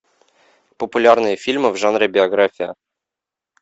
популярные фильмы в жанре биография